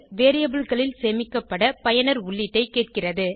variableகளில் சேமிக்கப்பட பயனர் உள்ளீட்டைக் கேட்கிறது